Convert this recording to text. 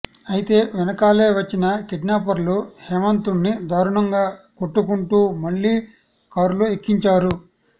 అయితే వెనకాలే వచ్చిన కిడ్నాపర్లు హేమంత్ను దారుణంగా కొట్టుకుంటూ మళ్లీ కారులో ఎక్కించారు